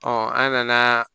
an nana